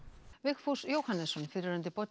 Vigfús Jóhannesson fyrrverandi